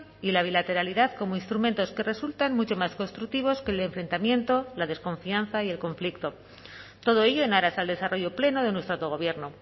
y la bilateralidad como instrumentos que resultan mucho más constructivos que el enfrentamiento la desconfianza y el conflicto todo ello en aras al desarrollo pleno de nuestro autogobierno